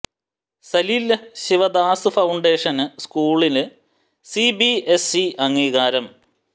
Salil Shivdas foundation സ്കൂളിന് C B S E അംഗീകാരം